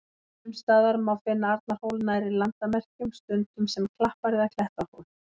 Sums staðar má finna Arnarhól nærri landamerkjum, stundum sem klappar- eða klettahól.